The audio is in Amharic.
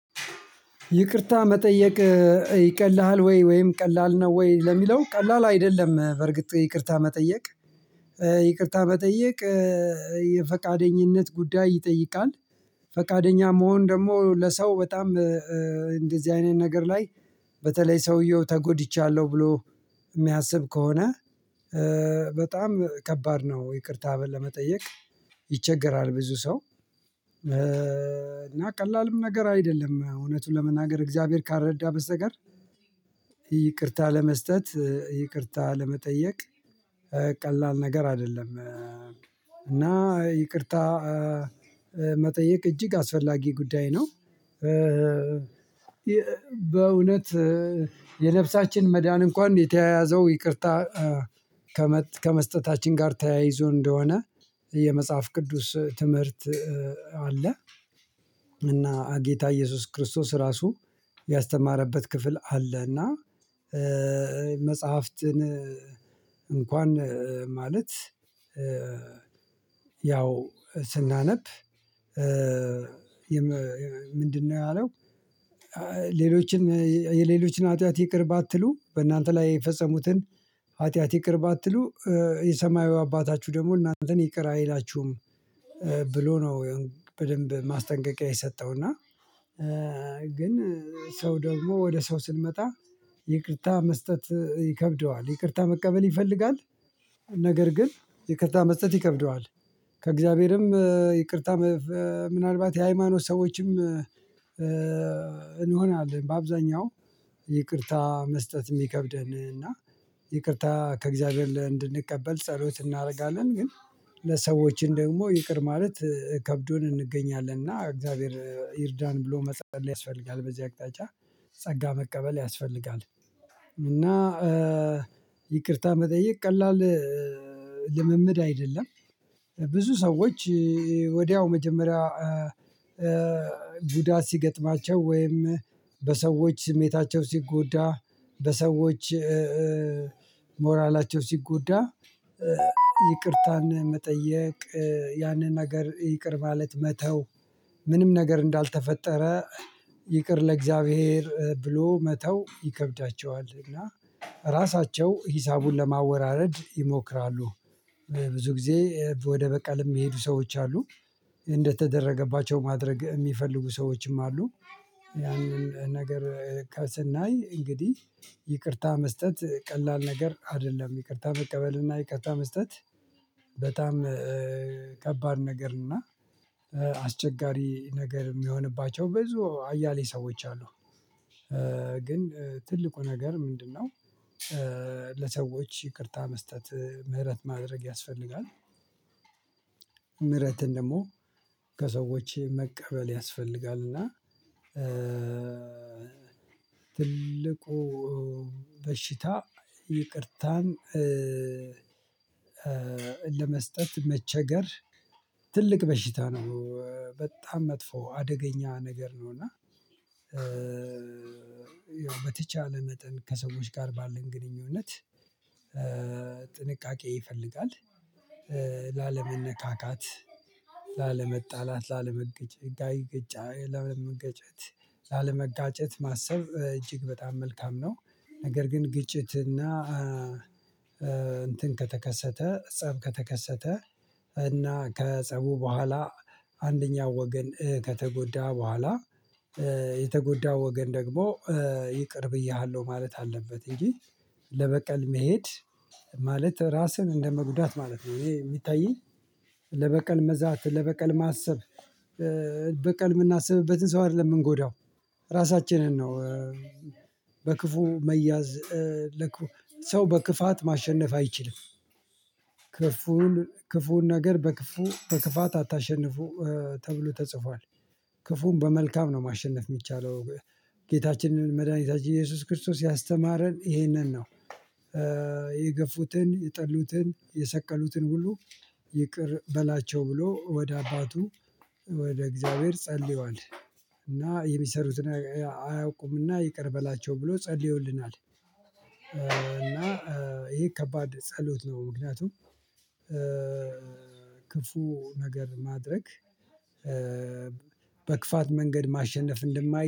ይቅርታ መጠየቅ? ይቀልሃል ወይ ወይም ቀላል ነው ወይ ለሚለው ቀላል አይደለም በርግጥ ይቅርታ መጠየቅ። ይቅርታ መጠየቅ የፈቃደኝነት ጉዳይ ይጠይቃል። ፈቃደኛ መሆን ደግሞ ለሰው በጣም እንደዚህ አይነት ነገር ላይ በተለይ ሰውየው ተጎድቻለሁ ብሎ የሚያስብ ከሆነ በጣም ከባድ ነው ይቅርታ ለመጠየቅ። ይቸገራል ብዙ ሰው እና ቀላልም ነገር አይደለም እውነቱን ለመናገር እግዚአብሔር ካልረዳ በስተቀር ይቅርታ ለመስጠት ይቅርታ ለመጠየቅ ቀላል ነገር አይደለም። እና ይቅርታ መጠየቅ እጅግ አስፈላጊ ጉዳይ ነው። በእውነት የነብሳችን መድሃኒት እንኳን የተያያዘው ይቅርታ ከመስጠታችን ጋር ተያይዞ እንደሆነ የመጽሐፍ ቅዱስ ትምህርት አለ። እና ጌታ ኢየሱስ ክርስቶስ ራሱ ያስተማረበት ክፍል አለ እና መጽሐፍትን እንኳን ማለት ያው ስናነብ ምንድነው ያለው ሌሎችን የሌሎችን ሀጢያት ይቅር ባትሉ በእናንተ ላይ የፈጸሙትን ኃጢአት ይቅር ባትሉ የሰማያዊ አባታችሁ ደግሞ እናንተን ይቅር አይላችሁም ብሎ ነው። በደንብ ማስጠንቀቂያ የሰጠው እና ግን ሰው ደግሞ ወደ ሰው ስንመጣ ይቅርታ መስጠት ይከብደዋል ይቅርታ መቀበል ይፈልጋል ነገር ግን ይቅርታ መስጠት ይከብደዋል። ከእግዚአብሔርም ይቅርታ ምናልባት የሃይማኖት ሰዎችም እንሆናለን በአብዛኛው ይቅርታ መስጠት የሚከብደን እና ይቅርታ ከእግዚአብሔር እንድንቀበል ጸሎት እናደርጋለን ግን ለሰዎችን ደግሞ ይቅር ማለት ከብዶን እንገኛለን እና እግዚአብሔር ይርዳን ብሎ መጸለይ ያስፈልጋል። በዚህ አቅጣጫ ጸጋ መቀበል ያስፈልጋል እና ይቅርታ መጠየቅ ቀላል ልምምድ አይደለም። ብዙ ሰዎች ወዲያው መጀመሪያ ጉዳት ሲገጥማቸው ወይም በሰዎች ስሜታቸው ሲጎዳ በሰዎች ሞራላቸው ሲጎዳ ይቅርታን መጠየቅ ያንን ነገር ይቅር ማለት መተው ምንም ነገር እንዳልተፈጠረ ይቅር ለእግዚአብሔር ብሎ መተው ይከብዳቸዋል። እና ራሳቸው ሂሳቡን ለማወራረድ ይሞክራሉ ብዙ ጊዜ ወደ በቀልም የሚሄዱ ሰዎች አሉ እንደተደረገባቸው ማድረግ የሚፈልጉ ሰዎችም አሉ። ያንን ነገር ከስናይ እንግዲህ ይቅርታ መስጠት ቀላል ነገር አይደለም። ይቅርታ መቀበል እና ይቅርታ መስጠት በጣም ከባድ ነገር እና አስቸጋሪ ነገር የሚሆንባቸው በዙ አያሌ ሰዎች አሉ ግን ትልቁ ነገር ምንድነው? ለሰዎች ይቅርታ መስጠት ምህረት ማድረግ ያስፈልጋል ምህረትን ደግሞ ከሰዎች መቀበል ያስፈልጋል። እና ትልቁ በሽታ ይቅርታን ለመስጠት መቸገር ትልቅ በሽታ ነው በጣም መጥፎ አደገኛ ነገር ነው። እና ያው በተቻለ መጠን ከሰዎች ጋር ባለን ግንኙነት ጥንቃቄ ይፈልጋል ላለመነካካት ላለመጣላት ላለመገጨት ላለመጋጨት ማሰብ እጅግ በጣም መልካም ነው። ነገር ግን ግጭትና እንትን ከተከሰተ ፀብ ከተከሰተ እና ከፀቡ በኋላ አንደኛው ወገን ከተጎዳ በኋላ የተጎዳ ወገን ደግሞ ይቅር ብዬሃለሁ ማለት አለበት እንጂ ለበቀል መሄድ ማለት ራስን እንደመጉዳት ማለት ነው። ይሄ የሚታየኝ ለበቀል መዛት ለበቀል ማሰብ በቀል የምናስብበትን ሰው አይደለም የምንጎዳው ራሳችንን ነው። በክፉ መያዝ ለክፉ ሰው በክፋት ማሸነፍ አይችልም ክፉን ክፉን ነገር በክፉ በክፋት አታሸንፉ ተብሎ ተጽፏል ክፉን በመልካም ነው ማሸነፍ የሚቻለው ጌታችንን መድኃኒታችን ኢየሱስ ክርስቶስ ያስተማረን ይሄንን ነው። የገፉትን የጠሉትን የሰቀሉትን ሁሉ ይቅር በላቸው ብሎ ወደ አባቱ ወደ እግዚአብሔር ጸልየዋል እና የሚሰሩትን አያውቁምና ይቅር በላቸው ብሎ ጸልዮልናል። እና ይሄ ከባድ ጸሎት ነው ምክንያቱም ክፉ ነገር ማድረግ በክፋት መንገድ ማሸነፍ እንደማይ